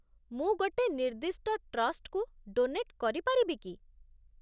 ମୁଁ ଗୋଟେ ନିର୍ଦ୍ଦିଷ୍ଟ ଟ୍ରଷ୍ଟକୁ ଡୋନେଟ୍ କରିପାରିବି କି?